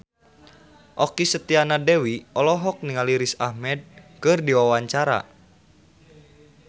Okky Setiana Dewi olohok ningali Riz Ahmed keur diwawancara